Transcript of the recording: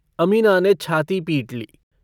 अमीना ने छाती पीट ली।